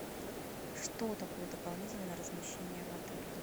что такое дополнительное размещение в отеле